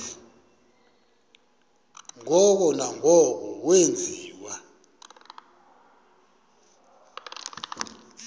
ngoko nangoko wenziwa